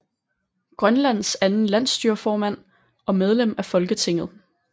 Grønlands anden Landsstyreformand og medlem af Folketinget